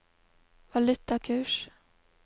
valutakurs